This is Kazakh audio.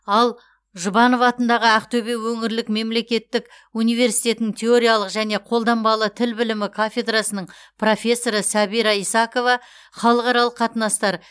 ал жұбанов атындағы ақтөбе өңірлік мемлекеттік университетінің теориялық және қолданбалы тіл білімі кафедрасының профессоры сәбира исакова халықаралық қатынастар